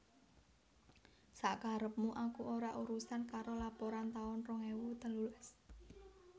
Sak karepmu aku ora urusan karo laporan taun rong ewu telulas